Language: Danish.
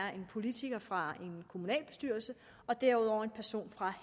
er en politiker fra en kommunalbestyrelse og derudover en person fra